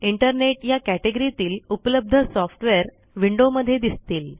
internet या category तील उपलब्ध सॉफ्टवेअर विंडोमध्ये दिसतील